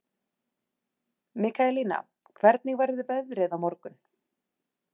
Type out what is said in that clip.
Mikaelína, hvernig verður veðrið á morgun?